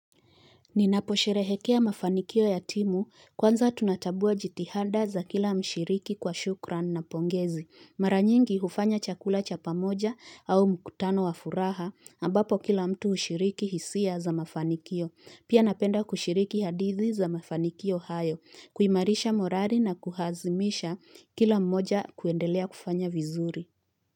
Ninaposherehekea mafanikio ya timu kwanza tunatambua jitihada za kila mshiriki kwa shukran na pongezi. Mara nyingi hufanya chakula cha pamoja au mkutano wa furaha ambapo kila mtu hushiriki hisia za mafanikio. Pia napenda kushiriki hadithi za mafanikio hayo. Kuimarisha morali na kuhazimisha kila mmoja kuendelea kufanya vizuri.